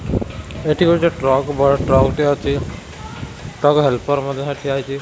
ଏଠି ଗୋଟେ ଟ୍ରକ୍ ବଡ଼ ଟ୍ରକ୍ ଟେ ଅଛି ଟ୍ରକ୍ ହେଲ୍ପର ମଧ୍ୟ ସେ ଠିଆ ହେଇଚି।